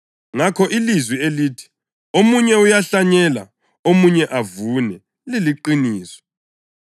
Ngakho ilizwi elithi, ‘Omunye uyahlanyela, omunye avune’ liliqiniso.